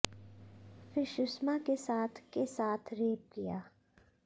फिर सुषमा के साथ के साथ रेप किया